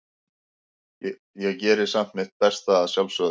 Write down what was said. Ég geri samt mitt besta, að sjálfsögðu.